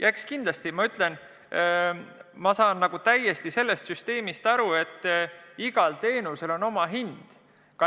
Eks kindlasti igal teenusel on oma hind.